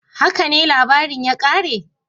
"Haka ne labarin ya kare?"